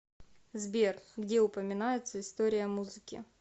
сбер где упоминается история музыки